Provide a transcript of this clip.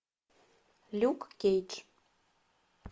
люк кейдж